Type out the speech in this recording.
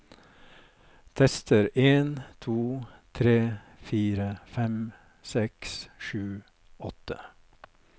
Tester en to tre fire fem seks sju åtte